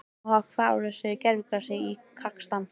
Hvaða áhrif hefur gervigrasið í Kasakstan?